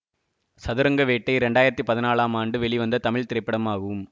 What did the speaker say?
சதுரங்க வேட்டை இரண்டு ஆயிரத்தி பதினாலாம் ஆண்டு வெளிவந்த தமிழ் திரைப்படமாகும்